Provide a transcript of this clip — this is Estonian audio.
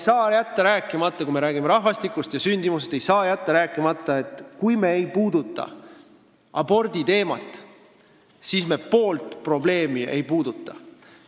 Ja kui me räägime rahvastikust ja sündimusest, siis ei saa jätta aborditeemast rääkimata, muidu jääb pool probleemi puudutamata.